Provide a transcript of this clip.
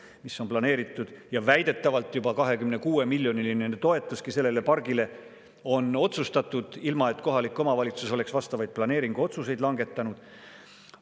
Need on planeeritud ja väidetavalt on juba 26-miljoniline toetuski sellele pargile otsustatud, ilma et kohalik omavalitsus oleks vastavaid planeeringu otsuseid langetanud.